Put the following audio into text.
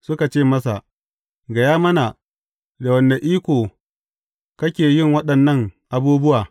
Suka ce masa, Gaya mana, da wane iko kake yin waɗannan abubuwa.